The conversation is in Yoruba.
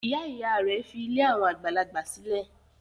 Ìyá-ìyá rẹ̀ fi ilé àwọn àgbàlagbà sílẹ̀.